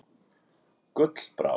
Gullbrá